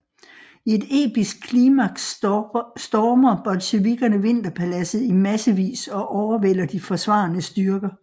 I et episk klimaks stormer bolsjevikkerne Vinterpaladset i massevis og overvælder de forsvarende styrker